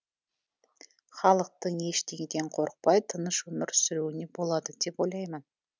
халықтың ештеңеден қорықпай тыныш өмір сүруіне болады деп ойлаймын